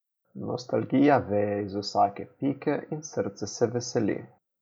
Nostalgija veje iz vsake pike in srce se veseli.